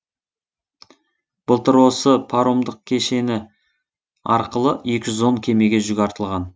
былтыр осы паромдық кешені арқылы екі жүз он кемеге жүк артылған